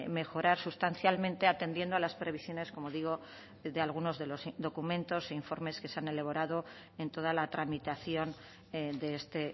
mejorar sustancialmente atendiendo a las previsiones como digo de algunos de los documentos e informes que se han elaborado en toda la tramitación de este